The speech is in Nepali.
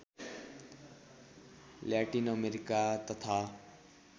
ल्याटिन अमेरिका तथा